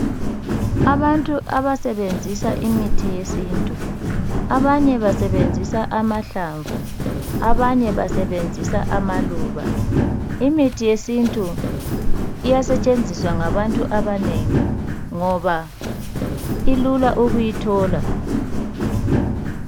Abantu abasebenzisa imithi yesintu abanye basebenzisa amahlamvu abanye basebenzisa amaluba . Imithi yesintu iyasetshenziswa ngabantu abanengi ngoba ilula ukuyithola .